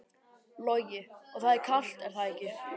Logi: Og það er kalt er það ekki?